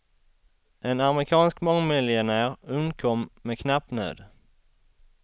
En amerikansk mångmiljonär undkom med knapp nöd.